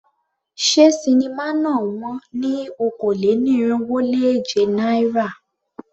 Ṣé sinimá náà wón ní okòó-lé-ní-irínwó-lé-èje náírà?